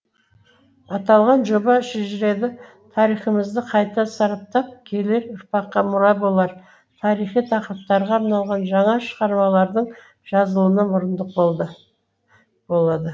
аталған жоба шежірелі тарихымызды қайта сараптап келер ұрпаққа мұра болар тарихи тақырыптарға арналған жаңа шығармалардың жазылуына мұрындық болды болады